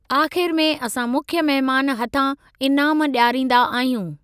आख़िरि में असां मुख्य मेहमान हथां इनाम डि॒याराईंदा आहियूं।